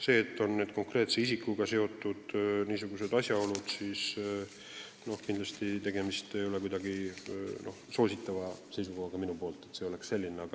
Nüüd on seoses konkreetse isikuga ilmnenud teatud asjaolud, aga tema väljavalimine ei johtunud kindlasti mingist minu soosivast seisukohast.